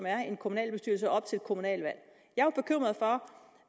er i en kommunalbestyrelse op til et kommunalvalg jeg